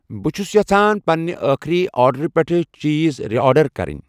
بہٕ چھس یژھان پننہِ أخری آرڈرٕ پٮ۪ٹھ چیٖز رِ آرڈر کَرٕنۍ